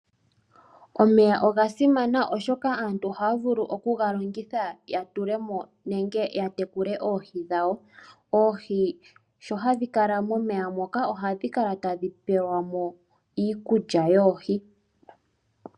Omeya oga simana oshoka aantu ohaya vulu okugalongitha ya tulemo nenge yatekule oohi dhawo. Oohi sho hadhi kala momeya moka ohadhi pelwamo iikulya yoohi.